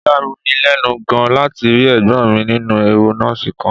Ó yà mí lẹ́nu gan-an láti rí ẹ̀gbọ́n mi nínú ẹ̀wù nọ́ọ̀sì kan